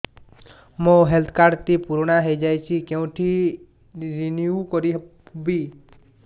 ମୋ health card ଟି ପୁରୁଣା ହେଇଯାଇଛି କେଉଁଠି ରିନିଉ କରିବି